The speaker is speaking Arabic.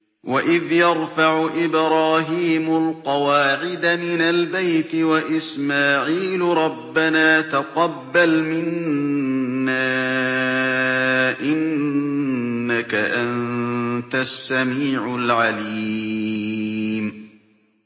وَإِذْ يَرْفَعُ إِبْرَاهِيمُ الْقَوَاعِدَ مِنَ الْبَيْتِ وَإِسْمَاعِيلُ رَبَّنَا تَقَبَّلْ مِنَّا ۖ إِنَّكَ أَنتَ السَّمِيعُ الْعَلِيمُ